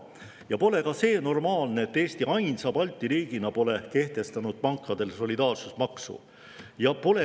Ka see pole normaalne, et Eesti ainsa Balti riigina pole kehtestanud pankadele solidaarsusmaksu.